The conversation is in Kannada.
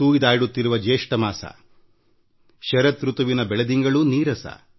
ಬಿರು ಬೇಸಿಗೆಯ ಮಾಸ